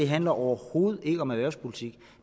handler overhovedet ikke om erhvervspolitik